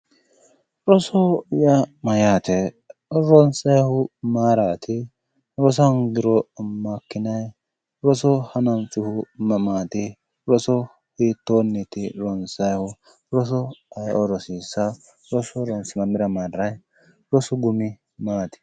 Rosoho yaa mayyaate ronsayihu mayiraati rosa hongiro makinayi roso hananfihu mamaati roso hitoniiti ronsayihu roso ayioo rosissawo roso ronse mamira marrayi rosu gumi maati